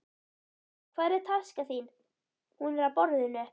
Hvar er taskan þín? Hún er á borðinu.